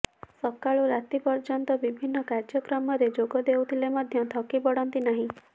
ସକାଳୁ ରାତି ପର୍ଯ୍ୟନ୍ତ ବିଭିନ୍ନ କାର୍ଯ୍ୟକ୍ରମରେ ଯୋଗ ଦେଉଥିଲେ ମଧ୍ୟ ଥକି ପଡ଼ନ୍ତି ନାହିଁ